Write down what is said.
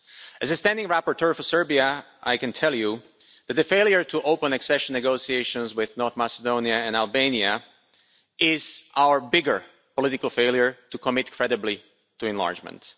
As the standing rapporteur for Serbia, I can tell you that the failure to open accession negotiations with North Macedonia and Albania is our bigger political failure to commit credibly to enlargement.